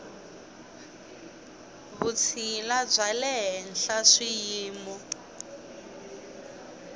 vutshila bya le henhla swiyimo